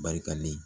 Barikalen